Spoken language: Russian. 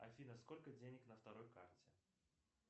афина сколько денег на второй карте